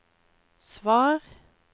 svar